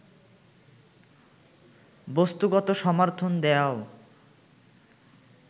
বস্তুগত সমর্থন দেয়াও